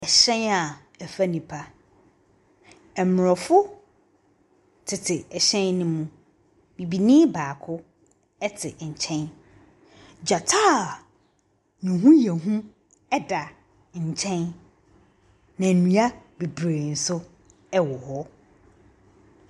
Hyɛn a ɛfa nnipa, aborɔfo tete hyɛn ne mu, bibini baako te nkyɛn. Gyata a ne ho yɛ hu da nkyɛn, na nnua bebree nso wɔ hɔ.